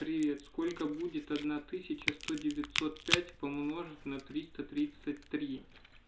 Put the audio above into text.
привет сколько будет одна тысяча сто девятьсот пять умножить на триста тридцать три